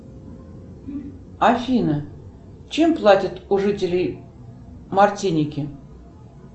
афина чем платят у жителей мартиники